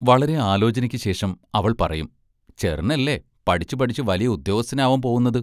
വളരെ ആലോചനയ്ക്കുശേഷം അവൾ പറയും: ചെറ്നല്ലേ പഠിച്ചു പഠിച്ച് വലിയ ഉദ്യോഗസ്ഥനാവാൻ പോവുന്നത്?